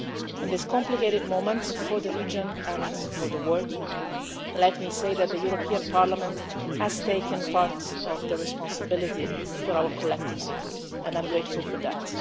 world. At this complicated moment for the region and for the world, let me say that the European Parliament has taken part of the responsibility for our collective security and I am grateful for